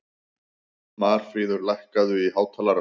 Marfríður, lækkaðu í hátalaranum.